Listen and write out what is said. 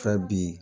Fɛ bi